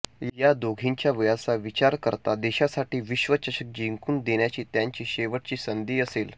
या दोघींच्या वयाचा विचार करता देशासाठी विश्वचषक जिंकून देण्याची त्यांची शेवटची संधी असेल